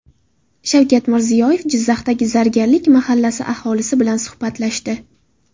Shavkat Mirziyoyev Jizzaxdagi Zargarlik mahallasi aholisi bilan suhbatlashdi.